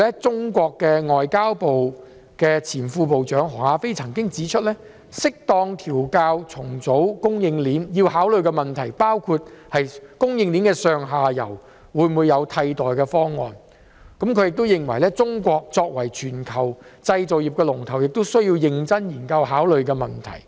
中國外交部前副部長何亞非曾經指出，適當調校和重組供應鏈要考慮的問題，包括供應鏈的上下游會否有替代的方案，他亦認為中國作為全球製造業的龍頭，這是一個需要認真研究和考慮的問題。